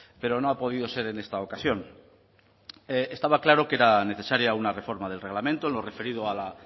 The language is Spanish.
pero no ha podido ser en esta ocasión estaba claro que era necesaria una reforma del reglamento en lo referido a la